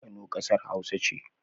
Kano kasar hausa ce